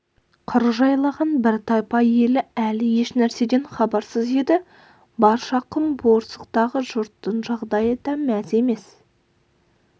қыр жайлаған бір тайпа ел әлі ешнәрседен хабарсыз еді баршақұм борсықтағы жұрттың жағдайы да мәз емес